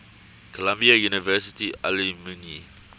columbia university alumni